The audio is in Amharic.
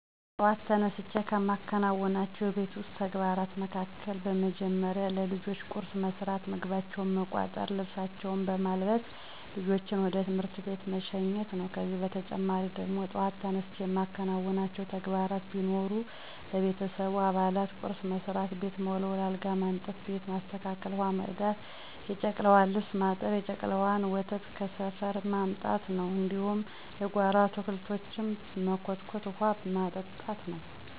በጥዋት ተነስቸ ከምከውናቸው የቤት ዉስጥ ተግባራት መካከል፦ በመደመሪያ ለልጆቸ ቁርስ መስራት፣ ምግባቸውን መቋጠር፣ ልብሳቸውን በማልበስ ልጆችን ወደ ትምህርት ቤት መሸኘት ነው። ከዚህ በተጨማሪ ደግሞ በጧት ተነስቸ የማከናውናቸው ተግባራት ቢኖር ለቤተሰቡ አባላት ቁርስ መስራት፣ ቤት መወልወል፣ አልጋ ማንጠፋ፣ ቤትን ማስተካከል፣ ውሀ መቅዳት፣ የጨቅላዋን ልብስ ማጠብ፣ የጨቅላዋን ወተት ከሰፈር ማምጣት ነው፣ እንዲሁም የጓሮ አታክልቶችን መኮትኮትና ውሀ ማጠጣት ነው።